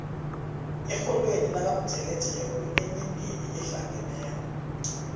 erholweni lakamtjeketjeke kunemindeni ehlangeneko